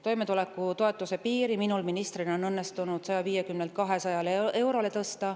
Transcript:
Toimetulekutoetuse piiri on minul ministrina õnnestunud tõsta 150 eurolt 200 eurole.